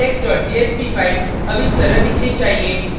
आपकी index jsp file अब इस तरह दिखनी चाहिए